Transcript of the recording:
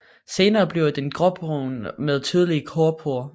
Senere bliver den gråbrun med tydelige korkporer